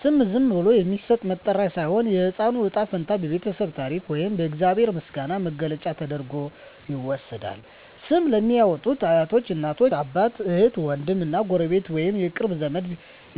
ስም ዝም ብሎ የሚሰጥ መጠሪያ ሳይሆን፣ የሕፃኑ ዕጣ ፈንታ፣ የቤተሰቡ ታሪክ ወይም የእግዚአብሔር ምስጋና መግለጫ ተደርጎ ይወሰዳል። ስም ለሚያዎጡት አያቶች፣ እናት አባት፣ እህት ዎንድም እና ጎረቤት ወይንም የቅርብ ዘመድ